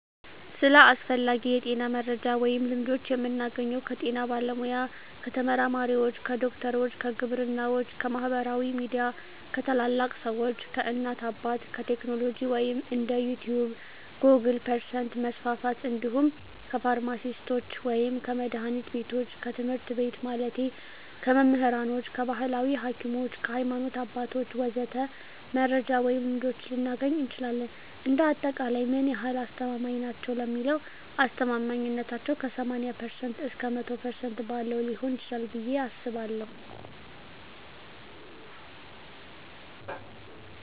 ስለ አስፈላጊ የጤና መረጃ ወይም ልምዶች የምናገኘው ከጤና ባለሙያ፣ ከተመራማሪዎች፣ ከዶክተሮች፣ ከግብርናዎች፣ ከማህበራዊ ሚዲያ፣ ከታላላቅ ሰዎች፣ ከእናት አባት፣ ከቴክኖሎጂ ወይም እንደ ዩቲቭ ጎግል% መስፍፍት እንዲሁም ከፍርማሲስቶች ወይም ከመድሀኒት ቢቶች፣ ከትምህርት ቤት ማለቴ ከመምህራኖች፣ ከባህላዊ ሀኪሞች፣ ከሀይማኖት አባቶች ወዘተ..... መረጃ ወይም ልምዶች ልናገኝ እንችላለን። እንደ አጠቃላይ ምን ያህል አስተማማኝ ናቸው ለሚለው አስተማማኝነታው ከ80% እስከ 100% ባለው ሊሆን ይችላል ብየ አስባለሁ።